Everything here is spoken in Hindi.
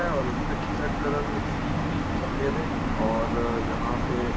हैऔर उसके टी शर्ट का रंग भी सफेद है और यहाँ पे।